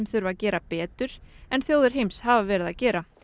þurfi að gera betur en þjóðir heims hafa verið að gera